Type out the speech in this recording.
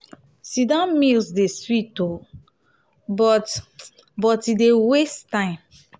sit-down meals dey sweet o but o but e dey waste time.